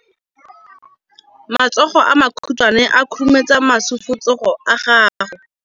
Matsogo a makhutshwane a khurumetsa masufutsogo a gago.